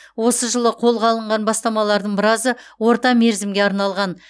осы жылы қолға алынған бастамалардың біразы орта мерзімге арналған